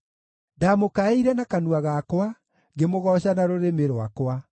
Ndamũkaĩire na kanua gakwa, ngĩmũgooca na rũrĩmĩ rwakwa.